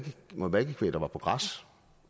noget malkekvæg der var på græs